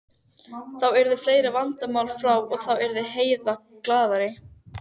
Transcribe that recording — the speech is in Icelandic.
Þá yrðu fleiri vandamál frá og þá yrði Heiða glaðari.